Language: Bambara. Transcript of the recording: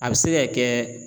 A bɛ se ka kɛ